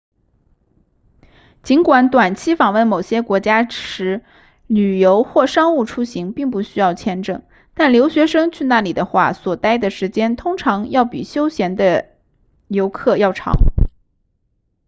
尽管短期访问某些国家时旅游或商务出行并不需要签证但留学生去那里的话所待的时间通常需比休闲的游客要长